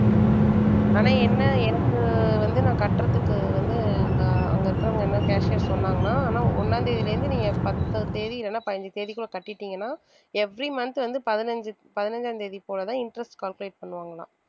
ஆனா என்ன எனக்கு வந்து நான் கட்டுறதுக்கு வந்து அங்க அங்க இருக்கறவங்க என்ன cashier சொன்னாங்கன்னா ஆனா ஒண்ணாம் தேதியில இருந்து நீங்க பத்து தேதி இல்லைன்னா பதினஞ்சு தேதிக்குள்ள கட்டிட்டீங்கன்னா every month வந்து பதினஞ்சு~ பதினஞ்சாம் தேதி போலதான் interest calculate பண்ணுவாங்களாம்.